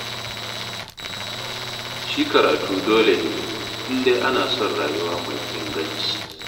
Shi karatu dole ne, in dai ana son rayuwa mai inganci.